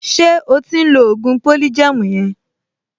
Ṣé o ti ń lo ògùn polygem yẹn?